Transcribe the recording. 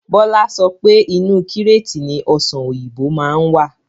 Bọlá sọpé Inu kíreetì ni Ọ̀sán òyìnbó máa ń wà.